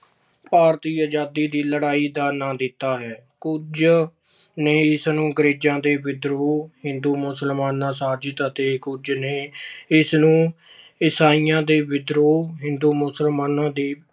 ਭਾਰਤੀ ਆਜ਼ਾਦੀ ਦੀ ਲੜਾਈ ਦਾ ਨਾਂ ਦਿੱਤਾ ਹੈ। ਕੁਝ ਨੇ ਇਸਨੂੰ ਅੰਗਰੇਜ਼ਾਂ ਦੇ ਵਿਦਰੋਹ, ਹਿੰਦੂ ਮੁਸਲਮਾਨਾਂ ਅਤੇ ਕੁਝ ਨੇ ਇਸਨੂੰ ਇਸਾਈਆਂ ਦੇ ਵਿਦਰੋਹ, ਹਿੰਦੂ, ਮੁਸਲਮਾਨਾਂ ਦੀ